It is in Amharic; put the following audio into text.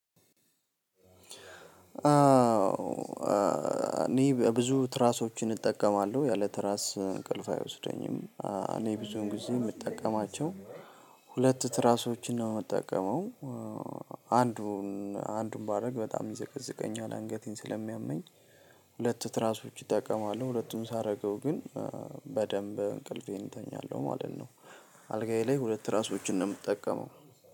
አዎ እኔ ብዙ ትራሶችን እጠቀማለሁ። ያለ ትራስ እንቅልፍ አይወስደኝም። እኔ ብዙን ጊዜ የምጠቀማቸው ሁለት ትራሶችን ነው የምጠቀመው። አንዱን አንዱን ባደርግ በጣም ይዘቀዝቀኛል አንገቴን ስለሚያመኝ ሁለት ትራሶች እጠቀማለሁ። ሁለቱን ሳደርገው ግን በደንብ እንቅልፌን እተኛለሁ ማለት ነው። አልጋዬ ላይ ሁለት ትራሶችን ነው የምጠቀመው።